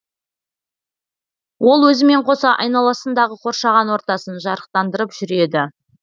ол өзімен қоса айналасындағы қоршаған ортасын жарықтандырып жүреді